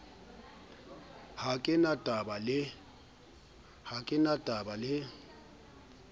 ha ke na taba le